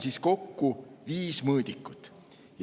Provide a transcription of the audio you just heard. Siin on kokku viis mõõdikut.